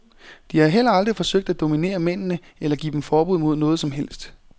De har heller aldrig forsøgt at dominere mændene eller give dem forbud mod noget som helst.